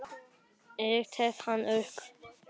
Ég tek hann upp.